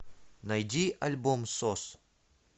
найди альбом сос